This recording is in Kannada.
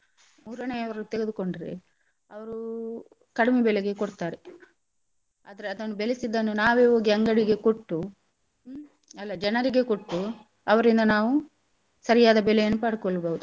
ಮೂರನೇಯವರು ತೆಗೆದುಕೊಂಡ್ರೆ ಅವ್ರು ಕಡಿಮೆ ಬೆಲೆಗೆ ಕೊಡ್ತಾರೆ. ಆದ್ರೆ ಅದನ್ನು ಬೆಳೆಸಿದನ್ನು ನಾವೇ ಹೋಗಿ ಅಂಗಡಿಗೆ ಕೊಟ್ಟು ಹ್ಮ್ ಅಲ್ಲ ಜನರಿಗೆ ಕೊಟ್ಟು ಅವರಿಂದ ನಾವು ಸರಿಯಾದ ಬೆಲೆಯನ್ನು ಪಡ್ಕೋಳ್ಬೋದು.